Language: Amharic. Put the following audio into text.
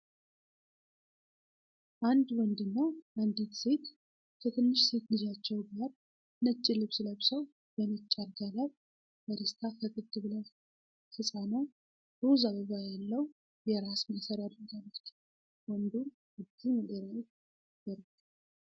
አንድ ወንድና አንዲት ሴት ከትንሽ ሴት ልጃቸው ጋር ነጭ ልብስ ለብሰው በነጭ አልጋ ላይ በደስታ ፈገግ ብለዋል፡፡ ህፃኗ ሮዝ አበባ ያለው የራስ ማሰሪያ አድርጋለች፤ ወንዱም እጁን ወደ ላይ ዘርግቷል፡፡